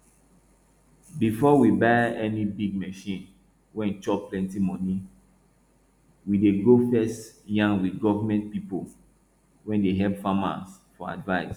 befor we buy any big machine wey chop plenti money we dey go first yan with government people wey dey help farmers for advice